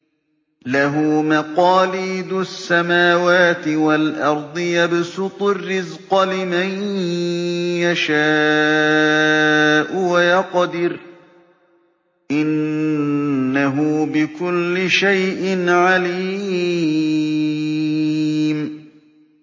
لَهُ مَقَالِيدُ السَّمَاوَاتِ وَالْأَرْضِ ۖ يَبْسُطُ الرِّزْقَ لِمَن يَشَاءُ وَيَقْدِرُ ۚ إِنَّهُ بِكُلِّ شَيْءٍ عَلِيمٌ